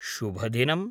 शुभदिनम्।